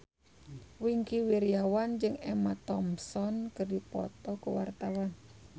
Wingky Wiryawan jeung Emma Thompson keur dipoto ku wartawan